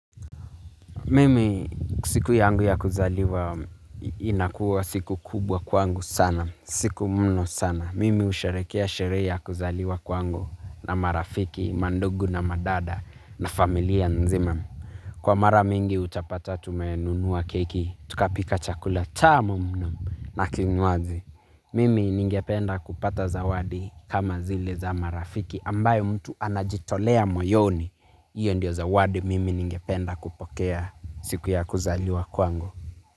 Mimi siku yangu ya kuzaliwa inakuwa siku kubwa kwangu sana. Siku mno sana. Mimi usherekea sherehe ya kuzaliwa kwangu na marafiki, mandugu na madada na familia nzima. Kwa mara mingi utapata tumenunua keki, tukapika chakula tamu mno na kinywaji. Mimi ningependa kupata zawadi kama zile za marafiki ambayo mtu anajitolea moyoni. Iyo ndio zawadi mimi ningependa kupokea siku ya kuzaliwa kwangu.